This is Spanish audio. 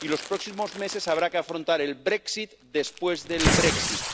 Y los próximos meses habrá que afrontar el Brexit después del Brexit